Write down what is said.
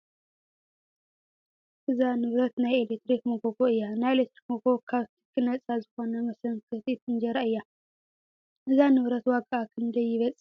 እዛ ንብረት ናይ ኤለክትሪክ መጐጐ እያ፡፡ ናይ ኤለክትሪክ መጐጐ ካብ ትኪ ነፃ ዝኮነት መሰንከቲት እንጀራ እያ፡፡ እዛ ንብረት ዋግኣ ክንደይ ይበፅሕ?